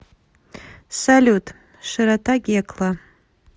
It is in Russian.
салют широта гекла